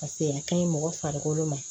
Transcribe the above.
Paseke a ka ɲi mɔgɔ farikolo ma